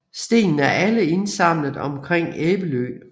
Stenene er alle indsamlet omkring Æbelø